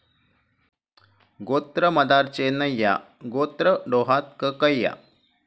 गोत्र मदार चेन्नय्या, गोत्र डोहात कक्कया,